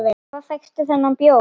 Hvar fékkstu þennan bjór?